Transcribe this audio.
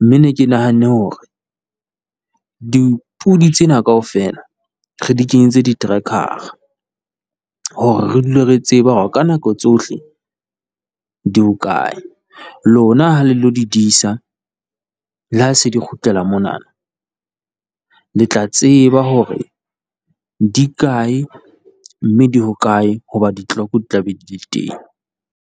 mme ke ne ke nahanne hore dipodi tsena kaofela re di kenyetse di-tracker-ra hore re dule re tseba hore ka nako tsohle di hokae, lona ha le lo di disa, le ha di se di kgutlela mona le tla tseba hore di kae, mme di hokae hobane di-clock di tla be di le teng.